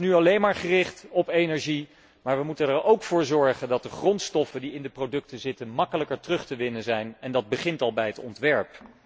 Die is nu alleen maar gericht op energie, maar we moeten er ook voor zorgen dat de grondstoffen die in de producten zitten gemakkelijker terug te winnen zijn en dat begint al bij het ontwerp.